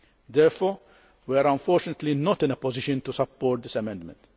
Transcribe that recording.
Therefore, we are unfortunately not in a position to support this amendment.